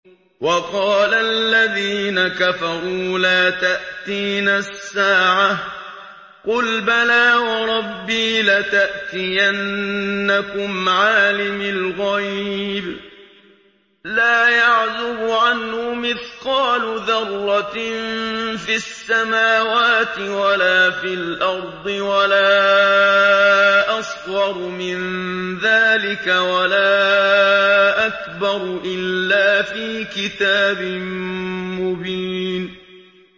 وَقَالَ الَّذِينَ كَفَرُوا لَا تَأْتِينَا السَّاعَةُ ۖ قُلْ بَلَىٰ وَرَبِّي لَتَأْتِيَنَّكُمْ عَالِمِ الْغَيْبِ ۖ لَا يَعْزُبُ عَنْهُ مِثْقَالُ ذَرَّةٍ فِي السَّمَاوَاتِ وَلَا فِي الْأَرْضِ وَلَا أَصْغَرُ مِن ذَٰلِكَ وَلَا أَكْبَرُ إِلَّا فِي كِتَابٍ مُّبِينٍ